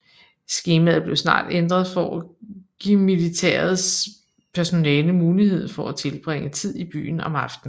Skemaet blev snart ændret for at give militærets personale mulighed for at tilbringe tid i byen om aftenen